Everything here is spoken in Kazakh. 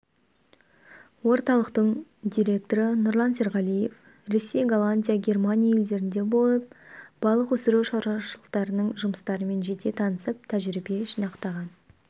орталықтың директоры нұрлан серғалиев ресей голландия германия елдерінде болып балық өсіру шаруашылықтарының жұмыстарымен жете танысып тәжірибе жинақтаған